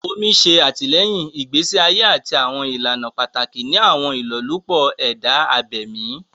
Omi ṣe àtìlẹ́yìn ìgbésí ayé àti àwọn ìlànà pàtàkì ni àwọn ìlọ́lúpọ̀ ẹ̀dá abẹ̀mí